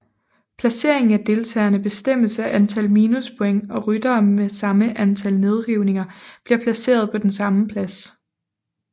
Placeringen af deltagerne bestemmes af antal minuspoints og ryttere med samme antal nedrivninger bliver placeret på den samme plads